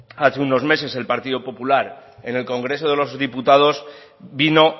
hace unos meses el partido popular en el congreso de los diputados vino